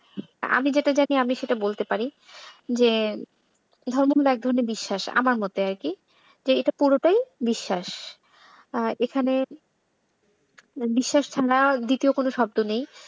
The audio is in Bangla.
আমি যেটা জানি সেটা বলতে পারি যে ধর্ম হলো এক ধরনের বিশ্বাস আমার মতে আরকি যে এটা পুরোটাই বিশ্বাস। আর এখানে বিশ্বাস ছাড়া আর দ্বিতীয় কোন শব্দ নেই।